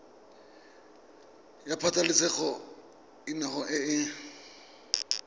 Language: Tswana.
ya pabalesego loago e e